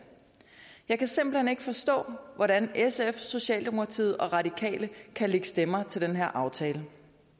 jeg kan simpelt hen ikke forstå hvordan sf socialdemokratiet og radikale kan lægge stemmer til den her aftale